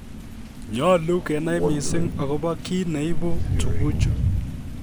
Nyolu kenai mising agobo kiit ne iibu tuguchu